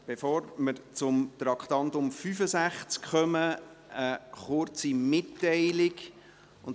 Bevor wir zu Traktandum 65 kommen, habe ich eine kurze Mitteilung zu machen.